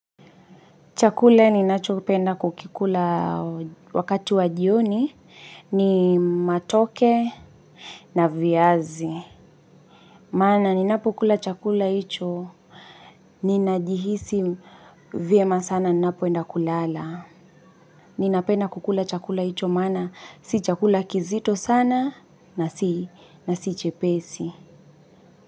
Chakula ninachopenda kukikula wakati wa jioni, ni matoke na viazi. Maana ninapokula chakula hicho ninajihisi vyema sana ninapoenda kulala. Ninapenda kukula chakula hicho maana si chakula kizito sana na si chepesi.